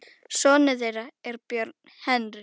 Sonur þeirra er Björn Henry.